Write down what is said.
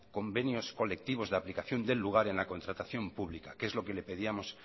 convenios colectivos de aplicación del lugar en la contratación pública que es lo que pedíamos